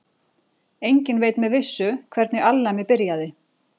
Enginn veit með vissu hvernig alnæmi byrjaði.